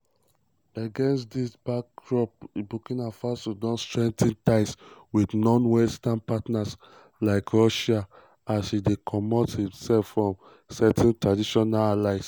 against dis backdrop burkina faso don strengthen ties wit non-western partners like russia as e dey comot imsef from certain traditional allies.